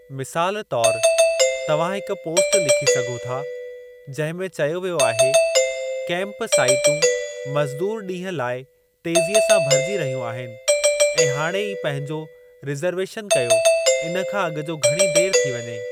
मिसालु तौरु, तव्हां हिक पोस्ट लखी सघो था जंहिं में चयो वियो आहे, "कैंप साइटूं मज़दूर ॾींहं लाइ तेज़ीअ सां भरिजी रहियूं आहिनि ऐं हाणे ई पंहिंजो रिज़रवेशन कयो इन खां अॻु जो घणी देरि थी वञे!